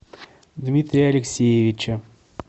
дмитрия алексеевича